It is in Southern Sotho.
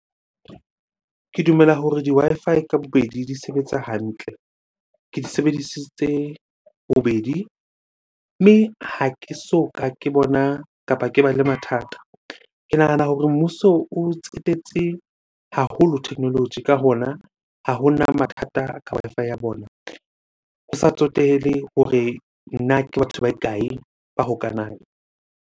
Ke dumela hore di-Wi-Fi ka bobedi di sebetsa hantle, ke di sebedisitse bobedi mme ha ke so ka ke bona kapa ke ba le mathata. Ke nahana hore mmuso o tsetetse haholo technology, ka hona ha hona mathata ka Wi-Fi ya bona. Ho sa tsotehele hore na ke batho ba kae ba hokahanang.